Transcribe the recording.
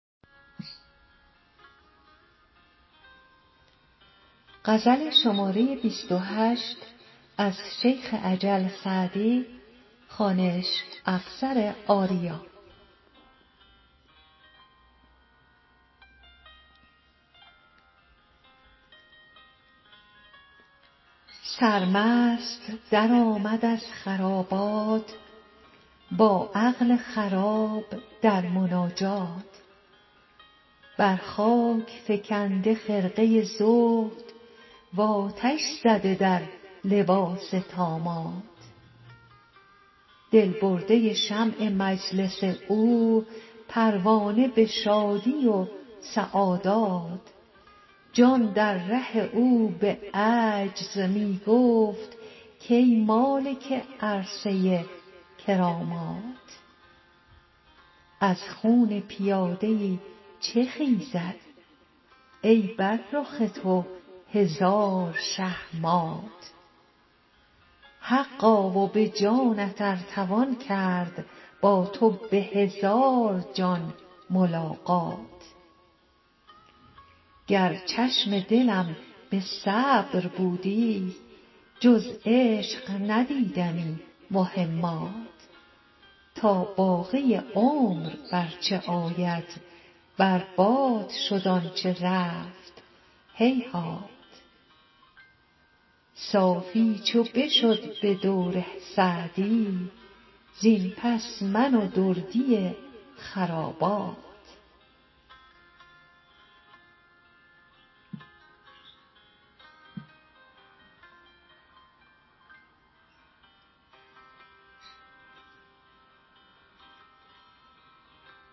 سرمست درآمد از خرابات با عقل خراب در مناجات بر خاک فکنده خرقه زهد و آتش زده در لباس طامات دل برده شمع مجلس او پروانه به شادی و سعادات جان در ره او به عجز می گفت کای مالک عرصه کرامات از خون پیاده ای چه خیزد ای بر رخ تو هزار شه مات حقا و به جانت ار توان کرد با تو به هزار جان ملاقات گر چشم دلم به صبر بودی جز عشق ندیدمی مهمات تا باقی عمر بر چه آید بر باد شد آن چه رفت هیهات صافی چو بشد به دور سعدی زین پس من و دردی خرابات